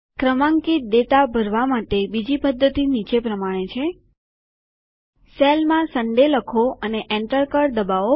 ક્રમાંકિત ડેટા ભરવા માટે બીજી પદ્ધતિ નીચે પ્રમાણે છે સેલમાં સનડે લખો અને એન્ટર કળ દબાવો